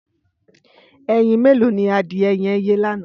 Ẹyín méló ni adiẹ yẹn yé lànã?